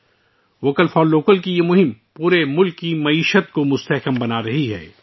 'vocal for local' کی یہ مہم پورے ملک کی معیشت کو مضبوط کرتی ہے